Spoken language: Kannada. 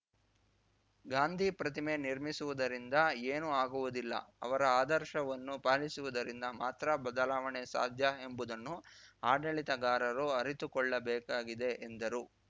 ಗಾಂಧಿ ಪ್ರತಿಮೆ ನಿರ್ಮಿಸುವುದರಿಂದ ಏನು ಆಗುವುದಿಲ್ಲ ಅವರ ಆದರ್ಶವನ್ನು ಪಾಲಿಸುವುದರಿಂದ ಮಾತ್ರ ಬದಲಾವಣೆ ಸಾಧ್ಯ ಎಂಬುದನ್ನು ಆಡಳಿತಗಾರರು ಅರಿತುಕೊಳ್ಳಬೇಕಾಗಿದೆ ಎಂದರು